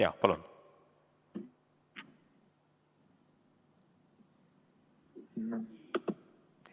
Jaa, palun!